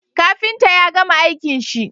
Kafinta yagama aikin shi